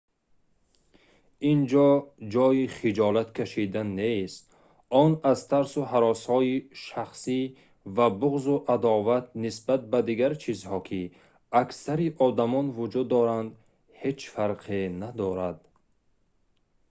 ин ҷо ҷойи хиҷолат кашидан нест он аз тарсу ҳаросҳои шахсӣ ва буғзу адоват нисбат ба дигар чизҳо ки аксари одамон вуҷуд доранд ҳеҷ фарқе надорад